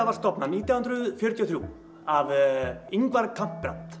var stofnað nítján hundruð fjörutíu og þrjú af Ingvar